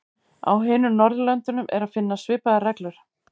Á hinum Norðurlöndunum er að finna svipaðar reglur.